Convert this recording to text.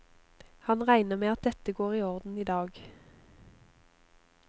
Han regner med at dette går i orden i dag.